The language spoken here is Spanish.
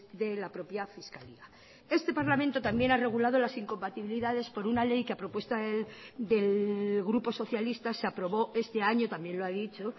de la propia fiscalía este parlamento también ha regulado las incompatibilidades por una ley que ha propuesta del grupo socialista se aprobó este año también lo ha dicho